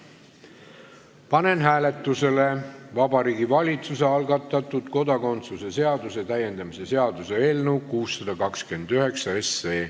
Panen hääletusele Vabariigi Valitsuse algatatud kodakondsuse seaduse täiendamise seaduse eelnõu 629.